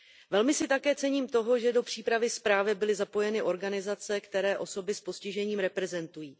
Velmi si také cením toho, že do přípravy zprávy byly zapojeny organizace, které osoby s postižením reprezentují.